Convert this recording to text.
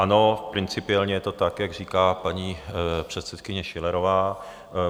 Ano, principiálně je to tak, jak říká paní předsedkyně Schillerová.